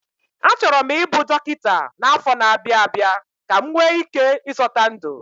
Achọrọ m ịbụ dọkịta n'afọ na-abịa abịa ka m nwee ike ịzọta ndụ